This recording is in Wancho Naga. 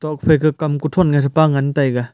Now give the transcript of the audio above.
tokphai ka kam kuthon ngan taiga.